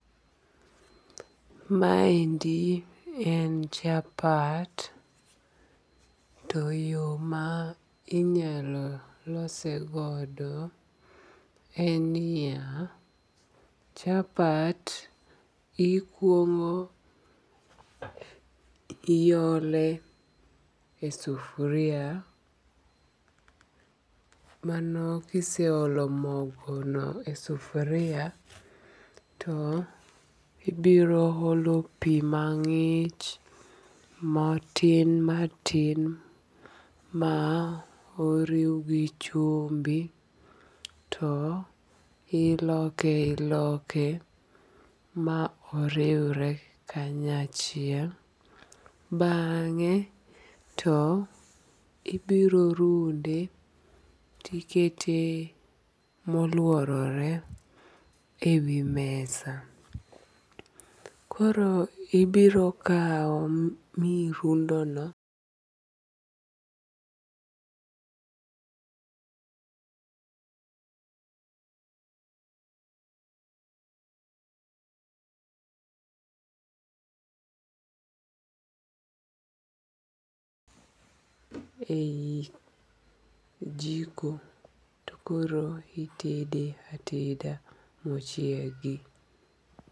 Maendi en chapat, to yo ma inyalo lose godo en niya, chapat ikuongo iole e sufuria mano kise olo mogono e sufuria ibiro olo pi mang'ich matin matin ma oriw gi chumbi toiloke iloke ma oriwre kanyachiel bang'e to ibiro runde to ikete ewi mesa koro ibiro kawo mirundono ei jiko to koro itede ateda mochiegi.